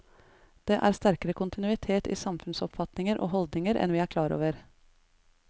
Det er en sterkere kontinuitet i samfunnsoppfatninger og holdninger enn vi er klar over.